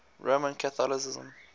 roman catholicism